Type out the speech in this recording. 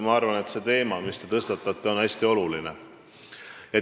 Ma arvan, et see teema, mis te tõstatate, on hästi oluline.